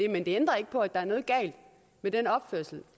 men det ændrer ikke på at der er noget galt med den opførsel